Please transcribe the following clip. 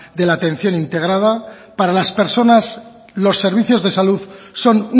de la atención integrada para las personas los servicios de salud son